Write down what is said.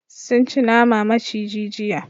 Sun ci nama maciji jiya.